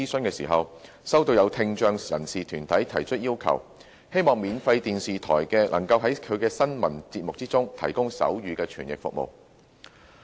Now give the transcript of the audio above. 其間，收到有聽障人士團體提出要求，希望免費電視台能夠在其新聞節目中提供手語傳譯服務。